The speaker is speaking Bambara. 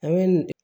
A bɛ nin